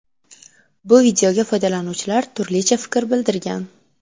Bu videoga foydalanuvchilar turlicha fikr bildirgan.